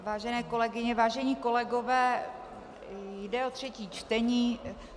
Vážené kolegyně, vážení kolegové, jde o třetí čtení.